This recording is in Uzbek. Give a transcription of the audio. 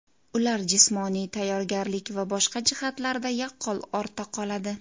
Ular jismoniy tayyorgarlik va boshqa jihatlarda yaqqol ortda qoladi.